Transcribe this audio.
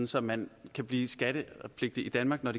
så man kan blive skattepligtig i danmark når